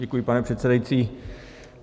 Děkuji, pane předsedající.